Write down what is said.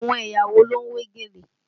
Àwọn ẹ̀yà wo ló ń wé gèlè?